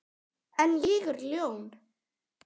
En ég er ljón.